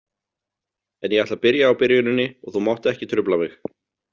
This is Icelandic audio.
En ég ætla að byrja á byrjuninni og þú mátt ekki trufla mig